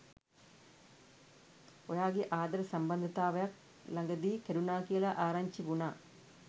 ඔයාගේ ආදර සම්බන්ධතාවක් ළඟ දී කැඩුණා කියලා ආරංචි වුණා